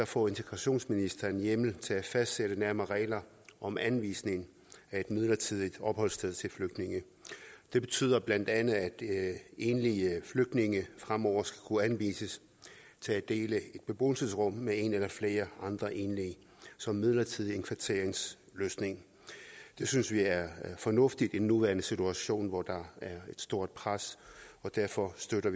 får integrationsministeren hjemmel til at fastsætte nærmere regler om anvisning af et midlertidigt opholdssted til flygtninge det betyder bla at enlige flygtninge fremover skal kunne henvises til at dele et beboelsesrum med en eller flere andre enlige som midlertidig indkvarteringsløsning det synes vi er fornuftigt i den nuværende situation hvor der er et stort pres og derfor støtter